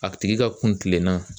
A tigi ka kuntilenna